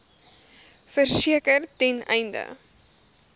verseker ten einde